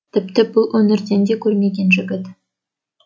тіпті бұл өңірден де көрмеген жігіт